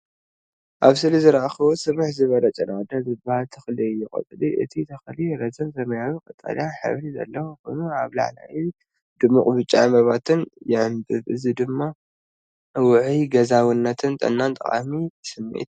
ኣብ ስእሊ ዝረኣኹዎ ስፍሕ ዝበለ ጨና ኣዳም ዝበሃል ተኽሊ እዩ። ቆጽሊ እቲ ተኽሊ ረዚን ሰማያዊ-ቀጠልያ ሕብሪ ዘለዎ ኮይኑ፡ ኣብ ላዕሊ ድሙቕ ብጫ ዕምባባታት ይዕምብብ። እዚ ድማ ውዑይን ገዛውነትን ንጥዕና ጠቃሚ ስምዒት ይህብ።